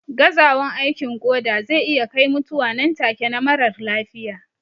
Gazawan aikin koda zai iya kai mutuwa nan take na marar lafiya